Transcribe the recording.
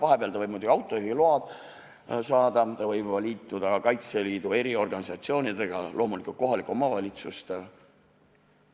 Vahepeal ta võib muidugi autojuhiloa saada, võib liituda mõne Kaitseliidu organisatsiooniga, loomulikult saab hääletada kohaliku omavalitsuse valimisel.